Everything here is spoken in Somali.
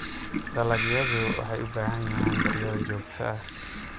Dalagyadu waxay u baahan yihiin daryeel joogto ah.